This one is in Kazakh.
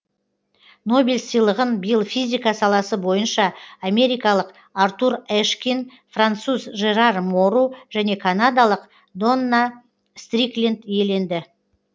нобель сыйлығын биыл физика саласы бойынша америкалық артур эшкин француз жерар мору және канадалық донна стрикленд иеленді